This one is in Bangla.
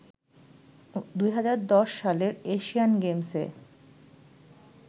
২০১০ সালের এশিয়ান গেমসে